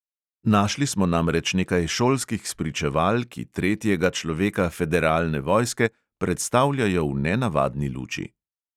Našli smo namreč nekaj šolskih spričeval, ki tretjega človeka federalne vojske predstavljajo v nenavadni luči.